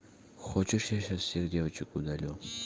хочешь я сейчас всех девочек удалю